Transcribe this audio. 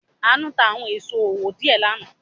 Àánú ta àwọn èso owó díẹ̀ lánàá.